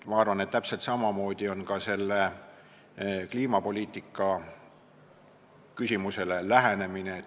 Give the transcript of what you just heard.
Ma arvan, et täpselt samamoodi on vaja läheneda ka sellele kliimapoliitika küsimusele.